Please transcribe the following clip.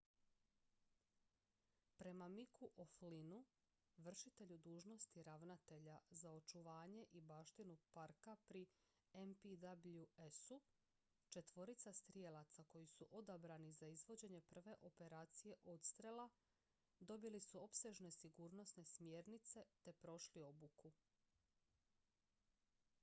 prema micku o'flynnu vršitelju dužnosti ravnatelja za očuvanje i baštinu parka pri npws-u četvorica strijelaca koji su odabrani za izvođenje prve operacije odstrela dobili su opsežne sigurnosne smjernice te prošli obuku